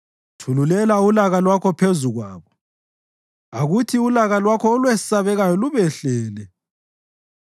Thululela ulaka lwakho phezu kwabo; akuthi ulaka lwakho olwesabekayo lubehlele.